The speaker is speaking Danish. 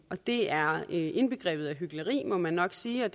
det er indbegrebet af hykleri må man nok sige og